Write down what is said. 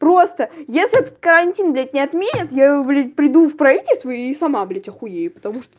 просто если этот карантин блять не отменят я блять приду в правительство и сама блять ахуею потому что